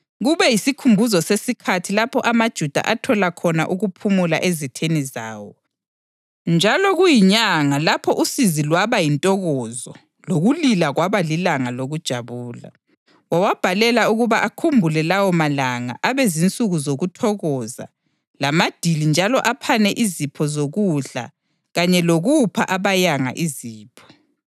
kube yisikhumbuzo sesikhathi lapho amaJuda athola khona ukuphumula ezitheni zawo, njalo kuyinyanga lapho usizi lwaba yintokozo lokulila kwaba lilanga lokujabula. Wawabhalela ukuba akhumbule lawo malanga abe zinsuku zokuthokoza lamadili njalo aphanane izipho zokudla kanye lokupha abayanga izipho.